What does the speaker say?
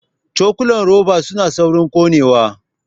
Cokulan roba suna saurin ƙonewa